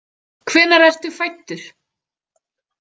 Hvenær ertu fæddur?